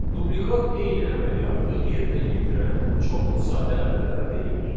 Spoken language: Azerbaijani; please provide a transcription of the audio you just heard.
Dublikat eyni əməliyyatı yerinə yetirən çoxlu sayda əmrlərə deyilir.